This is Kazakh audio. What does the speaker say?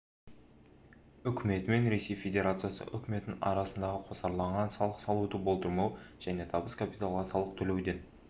үкіметі мен ресей федерациясы үкіметінің арасындағы қосарланған салық салуды болдырмау және табыс капиталға салық төлеуден